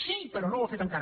sí però no ho ha fet encara